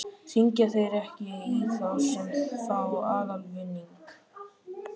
Hringja þeir ekki í þá sem fá aðalvinning?